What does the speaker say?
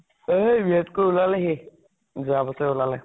এ B. Ed. কৰি ওলালে সি । যোৱা বছৰয়ে ওলালে ।